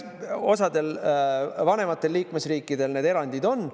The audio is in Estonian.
Osadel vanematel liikmesriikidel need erandid on.